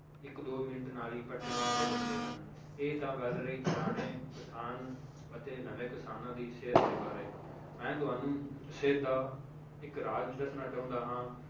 ਇੱਕ ਦੋ ਮਿੰਟ ਨਾਲ ਹੀ ਪੱਠੇ ਕੁਤਰੇ ਜਾਂਦੇ ਹਨ ਇਹ ਤਾਂ ਗੱਲ ਰਹੀ ਪੁਰਾਣੇ ਕਿਸਾਨ ਅਤੇ ਨਵੇਂ ਕਿਸਾਨਾਂ ਦੀ ਸਿਹਤ ਦੇ ਬਾਰੇ ਮੈਂ ਤੁਹਾਨੂੰ ਸਿਹਤ ਦਾ ਇੱਕ ਰਾਜ ਦੱਸਣਾ ਚਾਹੁੰਦਾ ਹਾਂਂ